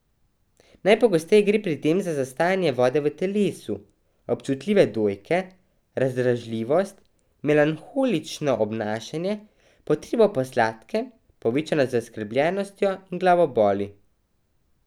Najpogosteje gre pri tem za zastajanje vode v telesu, občutljive dojke, razdražljivost, melanholično obnašanje, potrebo po sladkem, povečano zaskrbljenostjo in glavoboli.